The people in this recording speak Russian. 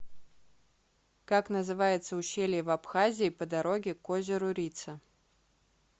как называется ущелье в абхазии по дороге к озеру рица